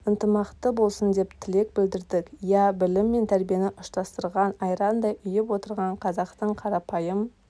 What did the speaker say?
ынтымақты болсын деп тілек білдірдік иә білім мен тәрбиені ұштастырған айрандай ұйып отырған қазақтың қарапайым